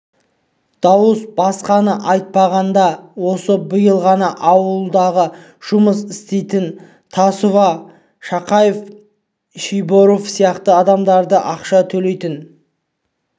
дауыс басқаны айтпағанда осы биыл ғана аулыңдағы жұмыс істемейтін тасова шақабаев шойбековалар сияқты адамдарды ақша төлейтін